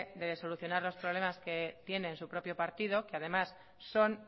de solucionar los problemas que tiene en su propio partido que además son